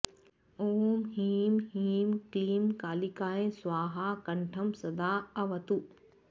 ॐ ह्रीं ह्रीं क्लीं कालिकायै स्वाहा कण्ठं सदाऽवतु